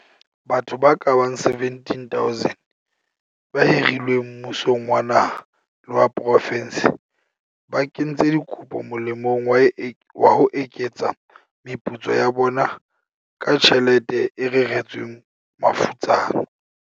Batho ba kabang 17 000 ba hirilweng mmusong wa naha le wa profense ba kentse dikopo molemong wa ho eketsa meputso ya bona ka tjhelete e reretsweng mafutsana.